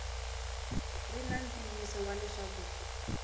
ri na ntiyiso wa leswaku